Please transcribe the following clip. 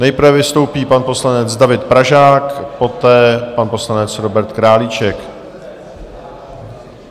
Nejprve vystoupí pan poslanec David Pražák, poté pan poslanec Robert Králíček.